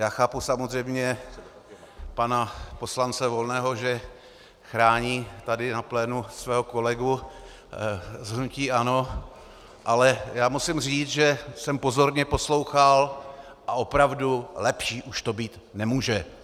Já chápu samozřejmě pana poslance Volného, že chrání tady na plénu svého kolegu z hnutí ANO, ale musím říct, že jsem pozorně poslouchal, a opravdu, lepší už to být nemůže.